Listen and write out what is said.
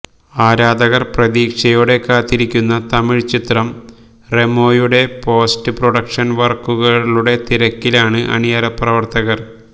ആരാധകര് പ്രതീക്ഷയോടെ കാത്തിരിക്കുന്ന തമിഴ് ചിത്രം റെമോയുടെ പോസ്റ്റ് പ്രൊഡക്ഷന് വര്ക്കുകളുടെ തിരക്കിലാണ് അണിയറപ്രവര്ത്തകര്